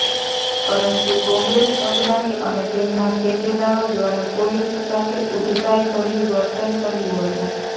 પરંતુ કોંગ્રેસ અગ્રણી અને તેમના ટેકેદારો દ્વારા પોલીસ સાથે ઉદ્ધતાઇભર્યું વર્તન કર્યું હતું